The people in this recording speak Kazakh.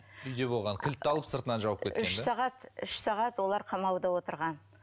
үйде болған кілтті алып сыртынан үш сағат үш сағат олар қамауда отырған